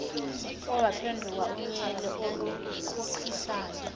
owaphenduka unyele oluqhuqhisayo